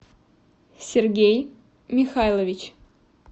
сергей михайлович